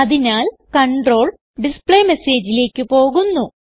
അതിനാൽ കണ്ട്രോൾ displayMessageലേക്ക് പോകുന്നു